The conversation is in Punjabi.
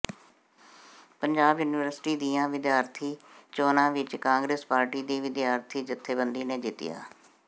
ਪੰਜਾਬ ਯੂਨੀਵਰਸਿਟੀ ਦੀਆਂ ਵਿਿਦਆਰਥੀ ਚੋਣਾਂ ਵਿੱਚ ਕਾਂਗਰਸ ਪਾਰਟੀ ਦੀ ਵਿਿਦਆਰਥੀ ਜਥੇਬੰਦੀ ਨੇ ਜਿੱਤੀਆਂ